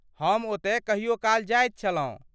हम ओतय कहियो काल जाइत छलहुँ।